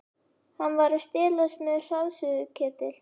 Hann var að stelast með hraðsuðuketil.